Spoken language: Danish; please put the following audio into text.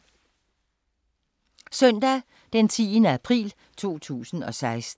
Søndag d. 10. april 2016